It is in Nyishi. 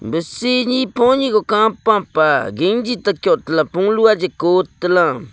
seh ne poni guh kapa pah gangi takio polu aji kotala.